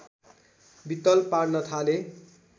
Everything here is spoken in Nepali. वित्तल पार्न थाले